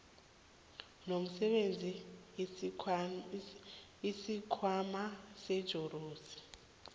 lomsebenzi isikhwama setjhorensi